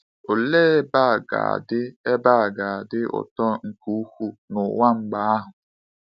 Olee ebe a ga-adị ebe a ga-adị ụtọ nke ukwuu n’ụwa mgbe ahụ!